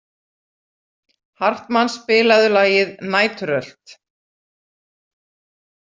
Hartmann, spilaðu lagið „Næturrölt“.